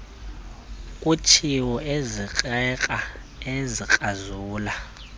kutshiwo ezikrakra ezikrazula